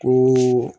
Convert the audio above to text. Ko